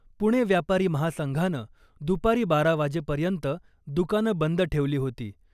पुणे व्यापारी महासंघानं दुपारी बारा वाजेपर्यंत दुकानं बंद ठेवली होती .